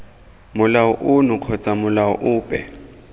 molao ono kgotsa molao ope